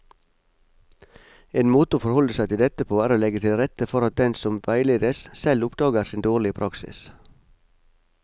En måte å forholde seg til dette på er å legge til rette for at den som veiledes, selv oppdager sin dårlige praksis.